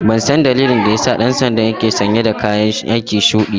Ban san dalilin da ya sa ɗan sandan ke sanye dakayan aiki shuɗi ba.